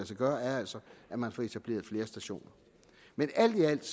sig gøre er altså at man får etableret flere stationer men alt i alt